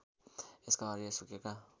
यसका हरिया सुकेका